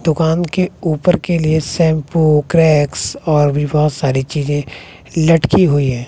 दुकान के ऊपर के लिए शैंपू क्रैकर्स और भी बहोत सारी चीजे लटकी हुई है।